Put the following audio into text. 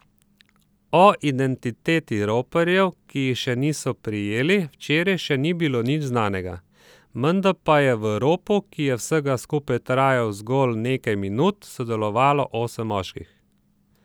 O identiteti roparjev, ki jih še niso prijeli, včeraj še ni bilo nič znanega, menda pa je v ropu, ki je vsega skupaj trajal zgolj nekaj minut, sodelovalo osem moških.